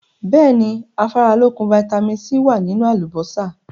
Bẹ́ẹ̀ni, Afáralókun "Vitamin C" wá nínú àlùbósà.